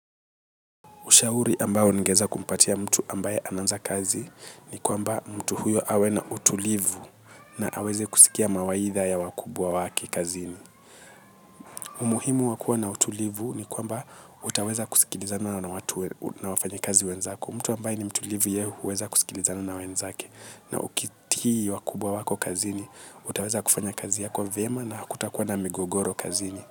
Ushauri ambao ningeeza kumpatia mtu ambaye anaanza kazi ni kwamba mtu huyo awe na utulivu na aweze kusikia mawaidha ya wakubwa wake kazini. Umuhimu wakua na utulivu ni kwamba utaweza kusikilizana na watu na wafanyi kazi wenzako. Mtu ambaye ni mtulivu yehu uweza kusikilizana na wenzake na ukitiki wakubwa wako kazini, utaweza kufanya kazi yako vyema na hakutakuwa na migogoro kazini.